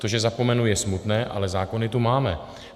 To, že zapomenu, je smutné, ale zákony tu máme.